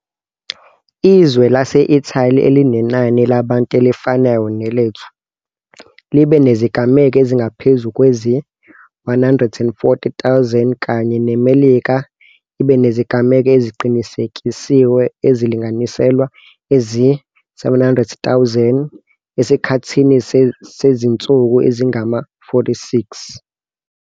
Izwe lase-Italy, elinenani labantu elifanayo nelethu, libe nezigameko ezingaphezu kwezi-140 000 kanye neMelika ibe nezigameko eziqinisekisiwe ezilinganiselwa ezi-700 000 esikhathini sezinsuku ezingama-46.